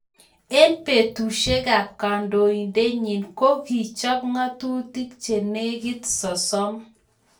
Eng betusiekab kandoinatenyi ko kichop ngatutik che negit sosom